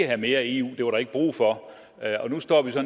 have mere eu det var der ikke brug for og nu står vi så